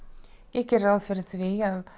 ég geri ráð fyrir því að